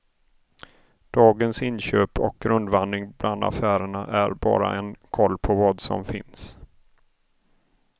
Dagens inköp och rundvandring bland affärerna är bara en koll på vad som finns.